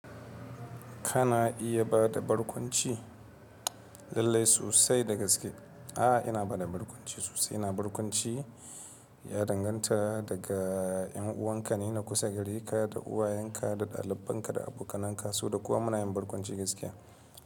Kana iya bada barkwanci lallai sosai daga gaske? A'a, ina bada barkwanci sosai. Ina barkwanci ya danganta daga yan uwanka ne na kusa, gare ka da uwayenka da ɗalibanka da abokanan ka so da kowa munayin barkwanci gaskiya.